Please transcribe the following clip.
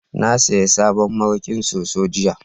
na saya sabon mariƙin soso jiya